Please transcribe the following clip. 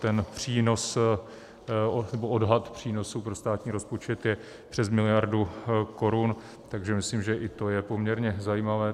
Ten přínos nebo odhad přínosu pro státní rozpočet je přes miliardu korun, takže myslím, že i to je poměrně zajímavé.